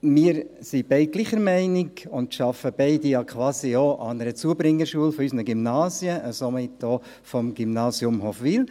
Wir sind beide der gleichen Meinung und arbeiten beide quasi an einer Zubringerschule unserer Gymnasien, somit auch am Gymnasium Hofwil.